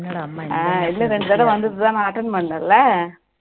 ஆஹ் இது இரண்டு தடவை வந்தது நான் attend பண்ணல இல்ல